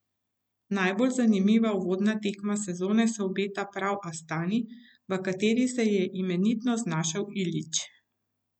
Najbolj zanimiva uvodna tekma sezone se obeta prav Astani, v kateri se je imenitno znašel Ilić.